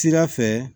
Sira fɛ